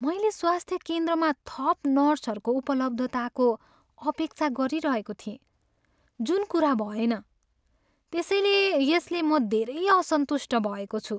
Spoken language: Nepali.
"मैले स्वास्थ्य केन्द्रमा थप नर्सहरूको उपलब्धताको अपेक्षा गरिरहेको थिएँ जुन कुरा भएन, त्यसैले यसले म धेरै असन्तुष्ट भएको छु।"